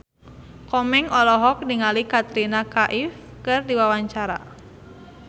Komeng olohok ningali Katrina Kaif keur diwawancara